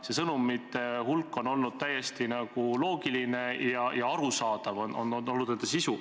Nende sõnumid on olnud täiesti loogilised, nende sisu on arusaadav.